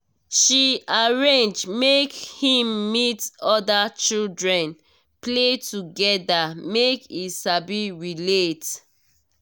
she arrange make him meet other children play together make e sabi relate